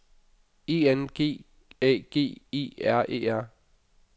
E N G A G E R E R